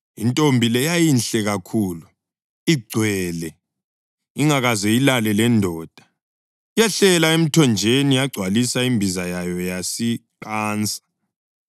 Intombi le yayinhle kakhulu, igcwele; ingakaze ilale lendoda. Yehlela emthonjeni, yagcwalisa imbiza yayo yasiqansa.